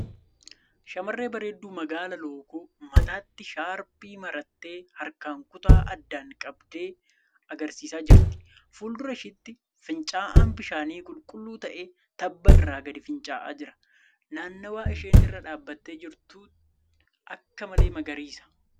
Shamarree bareeddu magaalaa lookoo mataatti shaarpii marattee harkaan kutaa addaan qabdee agarsiisaa jirti. Fuuldura isheetti fincaa'aan bishaanii qulqulluu ta'e tabba irraa gadi fincaa'aa jira. Naannawaa isheen irra dhaabbattee jirtu akka. malee magariisa.